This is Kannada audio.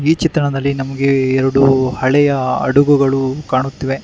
ಈ ಚಿತ್ರಣದಲ್ಲಿ ನಮಗೆ ಎರಡು ಹಳೆಯ ಹಡಗುಗಳು ಕಾಣುತ್ತಿವೆ.